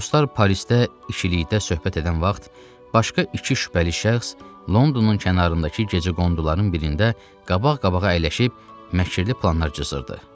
Dostlar, Parisdə ikilikdə söhbət edən vaxt başqa iki şübhəli şəxs Londonun kənarındakı gecəqonduların birində qabaq-qabağa əyləşib məkirli planlar cızırdı.